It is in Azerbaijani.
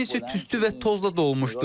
Evin isə tüstü və tozla dolmuşdu.